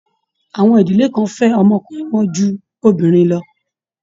Àwọn ìdílé kan fẹ́ ọmọ ọkùnrin wọn ju obìnrin lọ.